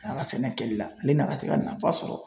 A ka sɛnɛ kɛli la ale n'a ka se ka nafa sɔrɔ